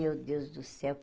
Meu Deus do céu.